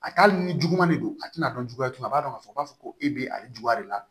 A t'a hali ni juguman de don a tɛna dɔn juguya tun a b'a dɔn k'a fɔ k'a fɔ ko e bɛ ale juguya de la